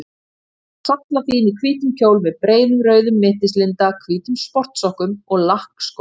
Lilla var sallafín í hvítum kjól með breiðum rauðum mittislinda, hvítum sportsokkum og lakkskóm.